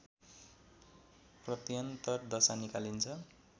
प्रत्यन्तर दशा निकालिन्छ